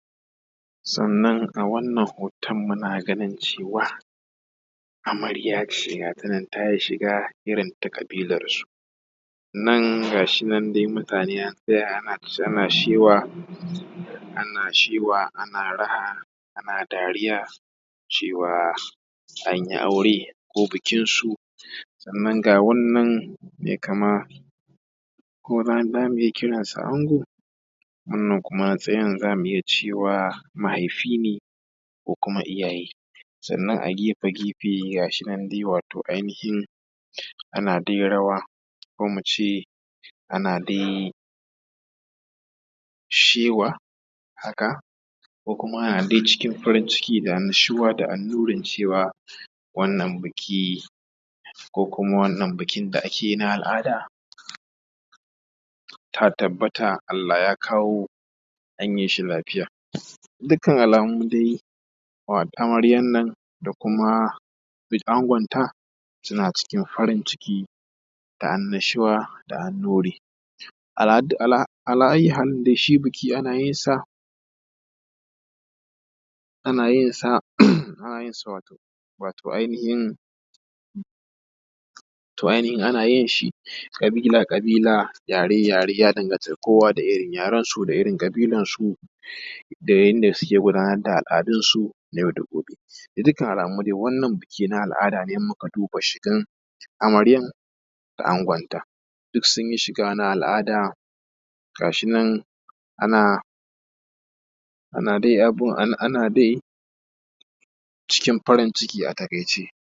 Sannan a wannan hoton muna ganin cewa amarya ce gata nan ta yi shiga irin ta ƙabilan su. Nan ga shi nan dai mutane ana shewa, ana shewa ana raha, ana dariya cewa an yi aure ko bikin su. Sannan ga wannan mai kama ko za mu iya kiransa ango. Wannan kuma za mu iya cewa mahaifi ne, ko kuma iyaye. Sannan a gefe gefe ga shi nan dai wato ainihin ana dai rawa ko mu ce ana dai shewa haka, ko kuma ana dai cikin farin ciki da annashuwa da annurin cewa wannan biki ko wannan biki da ake yi na al’ada ta tabbata Allah ya kawo an yi shi lafiya. Dukkan alamu dai amaryan nan da kuma angonta suna cikin farin ciki da annashuwa da annuri. Ala ayyu halin dai shi biki ana yin sa wato ainihin ana yin shi ƙabila ƙabila, yare yare, ya danganta da kowa da irin yaren su da irin ƙabilan su da yanda suke gudanar da al’adun su na yau da gobe. Da dukkan alamu dai wannan biki na al’ada ne in muka duba shigan amaryan da angonta sun yi shiga na al’ada gashinan a na dai cikin farin ciki a taƙaice